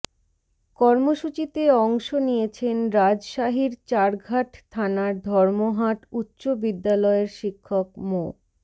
কর্মসূচিতে অংশ নিয়েছেন রাজশাহীর চারঘাট থানার ধর্মহাট উচ্চ বিদ্যালয়ের শিক্ষক মো